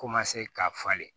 Ko ma se ka falen